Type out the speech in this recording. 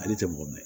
Ale tɛ mɔgɔ minɛ